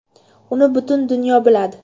Uni butun dunyo biladi.